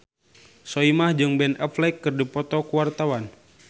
Soimah jeung Ben Affleck keur dipoto ku wartawan